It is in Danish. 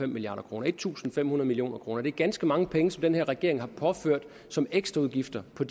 milliard kroner en tusind fem hundrede millioner kroner det er ganske mange penge som den her regering har påført som ekstraudgifter på